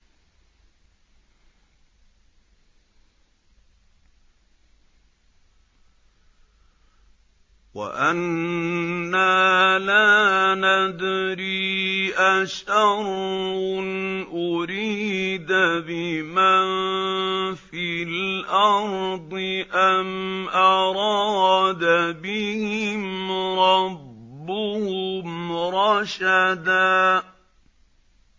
وَأَنَّا لَا نَدْرِي أَشَرٌّ أُرِيدَ بِمَن فِي الْأَرْضِ أَمْ أَرَادَ بِهِمْ رَبُّهُمْ رَشَدًا